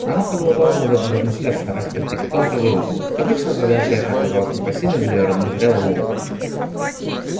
она продолжала над этим размышлять стараясь прийти к какому-то выводу но как обычно задача эта оказалась непосильной для её незрелого ума